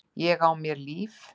Ég á mér líf.